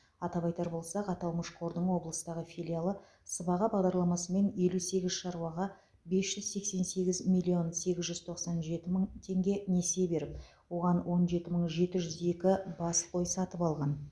атап айтар болсақ аталмыш қордың облыстағы филиалы сыбаға бағдарламасымен елу сегіз шаруаға бес жүз сексен сегіз миллион сегіз жүз тоқсан жеті мың теңге несие беріп оған он жеті мың жеті жүз екі бас қой сатып алған